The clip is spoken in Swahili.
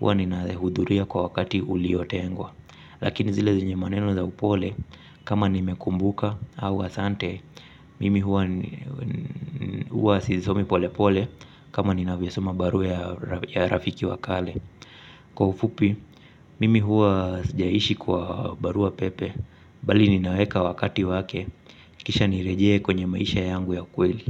hua ninahudhuria kwa wakati uliotengwa. Lakini zile zenye maneno za upole, kama nimekumbuka au asante, mimi huwa sisomi pole pole kama ninavyosoma barua ya rafiki wa kale. Kwa ufupi, mimi huwa sijaishi kwa barua pepe. Bali ninaweka wakati wake. Kisha nirejee kwenye maisha yangu ya kweli.